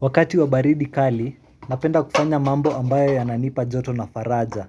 Wakati wa baridi kali, napenda kufanya mambo ambayo yananipa joto na faraja.